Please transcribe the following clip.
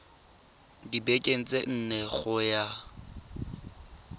dibekeng tse nne go ya